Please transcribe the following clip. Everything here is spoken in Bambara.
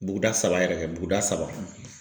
Buguda saba yɛrɛ kɛ buguda saba.